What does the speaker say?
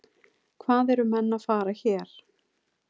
Hvað eru menn að fara hér?